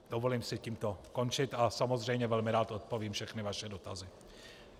Dovolím si tímto končit a samozřejmě velmi rád odpovím všechny vaše dotazy.